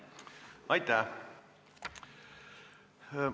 Aitäh!